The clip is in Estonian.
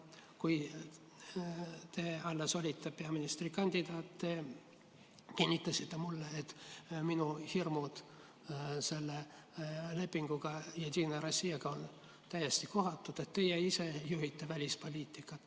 Kui te alles olite peaministrikandidaat, siis te kinnitasite mulle, et minu hirmud selle Jedinaja Rossijaga sõlmitud lepingu pärast on täiesti kohatud, et teie ise juhite välispoliitikat.